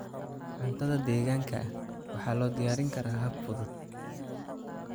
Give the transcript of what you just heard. Cuntada deegaanka waxaa loo diyaarin karaa hab fudud.